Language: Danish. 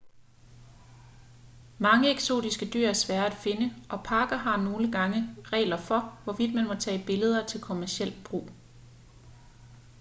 mange eksotiske dyr er svære at finde og parker har nogle gange regler for hvorvidt man må tage billeder til kommerciel brug